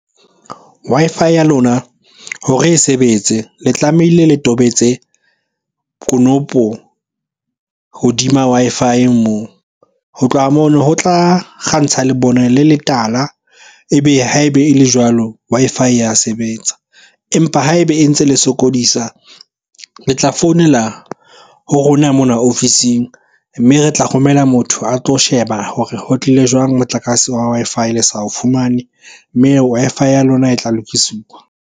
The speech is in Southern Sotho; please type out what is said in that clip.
Wi-Fi ya lona hore e sebetse le tlamehile le tobetse konopo hodima Wi-Fi moo. Ho tloha mono ho tla kgantsha le bone le letala, e be ha ebe e le jwalo Wi-Fi ya sebetsa. Empa ha ebe e ntse le sokodisa, le tla founela ho rona mona ofising. Mme re tla romela motho a tlo sheba hore ho tlile jwang motlakase wa Wi-Fi le sa o fumane. Mme Wi-Fi ya lona e tla lokisiwa.